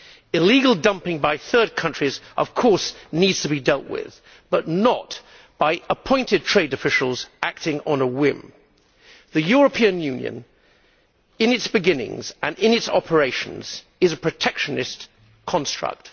Illegal dumping by third countries of course needs to be dealt with, but not by appointed trade officials acting on a whim. The European Union, in its beginnings and in its operations, is a protectionist construct.